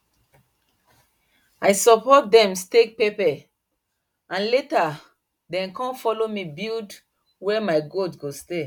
i support dem stake pepper and later dem com follow me build where my goat go stay